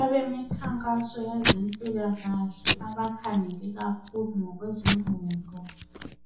Abemikhankaso yezempilakahle abakhangele kakhulu ngokwezengqondo